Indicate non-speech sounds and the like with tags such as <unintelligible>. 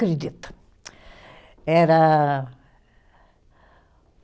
<unintelligible> Era